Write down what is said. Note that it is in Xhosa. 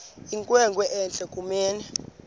inkwenkwe entle kunene